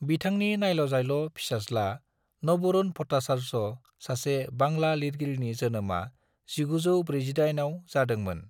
बिथांनि नायल'जाल' फिसाज्ला नबरुन भट्टाचार्य, सासे बांला लिरगिरिनि जोनोमआ 1948 आव जादोंमोन।